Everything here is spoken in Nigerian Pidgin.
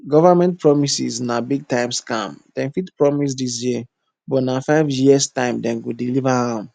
government promises na big time scam dem fit promise dis year but na five years time dem go deliver am